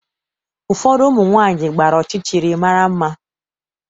Ụfọdụ ụmụ nwanyị gbara ọchịchịrị mara mma.